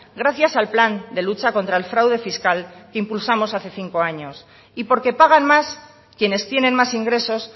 gracias al plan de lucha contra el fraude fiscal que impulsamos hace cinco años y porque pagan más quienes tienen más ingresos